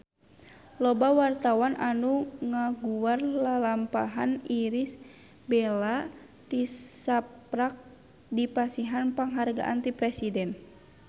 Loba wartawan anu ngaguar lalampahan Irish Bella tisaprak dipasihan panghargaan ti Presiden